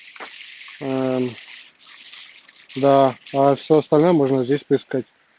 да а все остальное можно здесь поискать